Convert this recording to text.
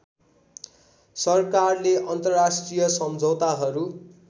सरकारले अन्तर्राष्ट्रिय सम्झौताहरू